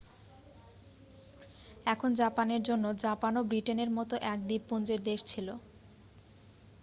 এখন জাপানের জন্য জাপানও ব্রিটেনের মতো এক দ্বীপপুঞ্জের দেশ ছিল